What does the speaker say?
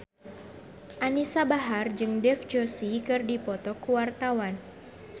Anisa Bahar jeung Dev Joshi keur dipoto ku wartawan